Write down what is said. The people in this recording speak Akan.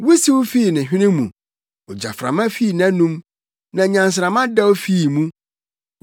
Wusiw fii ne hwene mu; ogyaframa fii nʼanom, na nnyansramma dɛw fii mu.